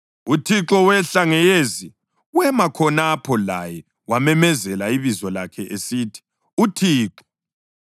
UThixo wehla ngeyezi wema khonapho laye wamemezela ibizo lakhe esithi, “ UThixo.”